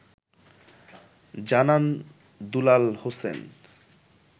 জানান দুলাল হোসেন